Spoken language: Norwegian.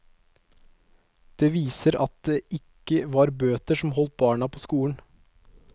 Det viser at det ikke var bøter som holdt barna på skolen.